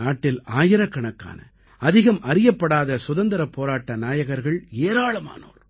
நாட்டில் ஆயிரக்கணக்கான அதிகம் அறியப்படாத சுதந்திரப் போராட்ட நாயகர்கள் ஏராளமானோர்